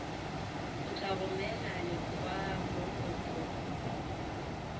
o tla romela lekwalokopo la